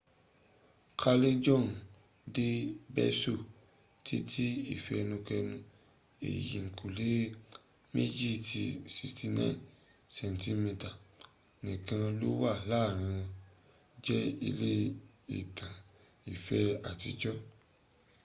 callejon del beso titi ifenukenu. eyinkule meji ti 69 centimeters nikan lo wa laarin won je ile itan ife atijo